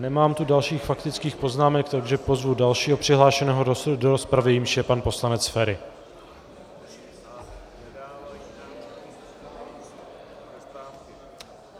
Nemám tu dalších faktických poznámek, takže pozvu dalšího přihlášeného do rozpravy, jimž je pan poslanec Feri.